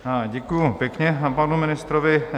Děkuji pěkně panu ministrovi.